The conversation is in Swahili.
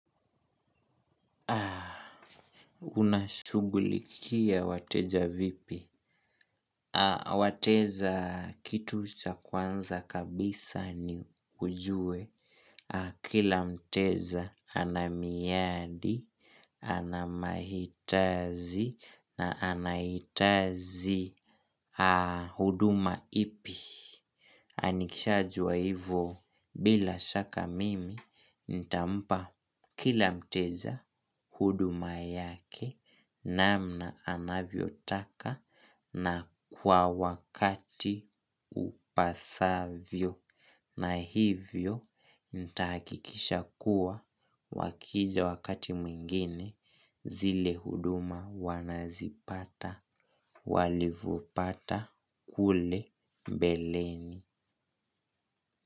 Unashugulikia wateja vipi? Wateza kitu cha kwanza kabisa ni ujue. Kila mteza anamiyadi, anamahitazi na anahitazi huduma ipi. Anikishajua hivo bila shaka mimi ntampa kila mteja huduma yake namna anavyotaka na kwa wakati upasavyo. Na hivyo ntahakikisha kuwa wakija wakati mwingine zile huduma wanazipata walivopata kule mbeleni.